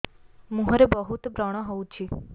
ମୁଁହରେ ବହୁତ ବ୍ରଣ ହଉଛି